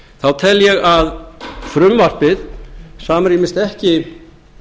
þá tel ég að frumvarpið samrýmist ekki